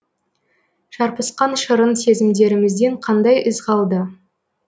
шарпысқан шырын сезімдерімізден қандай із қалды